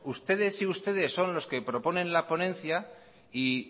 ustedes y ustedes son los que proponen la ponencia y